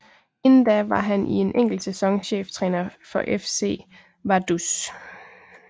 Inden da var han i en enkelt sæson cheftræner for FC Vaduz